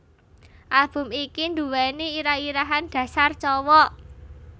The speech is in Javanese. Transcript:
Album iki nduweni irah irahan Dasar Cowok